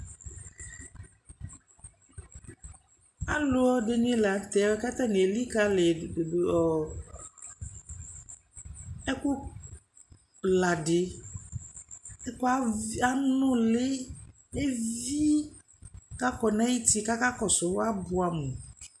Aluɛdɛnɛ lanutɛ katani elikali ɛkuladɛ ɛkʋanulɛɛ levii kakɔnayuti kakakɔsu abuamu